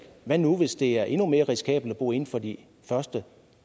hvad nu hvis det er endnu mere risikabelt at bo inden for de første